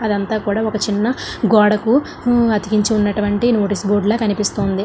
అదంతా కూడా ఒక చిన్న గోడకు అతికించినటువంటి నోటీసు బోర్డు లా కనిపిస్తూ ఉంది.